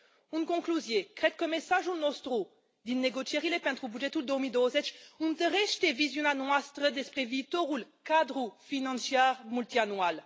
În concluzie, cred că mesajul nostru din negocierile pentru bugetul 2020 întărește viziunea noastră despre viitorul cadru financiar multianual.